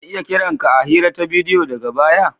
Zan iya kiran ka a hira ta bidiyo daga baya?